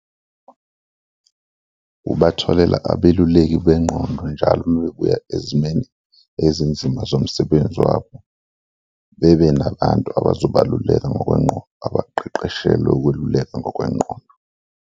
Ubatholela abeluleki bengqondo njalo uma bebuya ezimeni ezinzima zomsebenzi wabo, bebe nabantu abazobaluleka ngokwengqondo, abaqeqeshelwe ukweluleka ngokwengqondo.